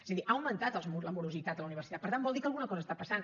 és a dir ha augmentat la morositat a la universitat per tant vol dir que alguna cosa està passant